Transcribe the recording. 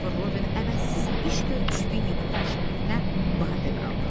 Kristofer Robin əvəzsiz iş görmüş Vinni Puxun şərəfinə badə qaldırdı.